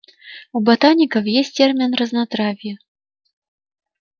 у ботаников есть термин разнотравье